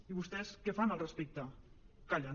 i vostès què fan al respecte callen